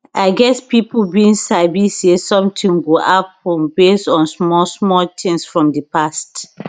i guess pipo bin sabi say sometin go happun base on small small tins from di past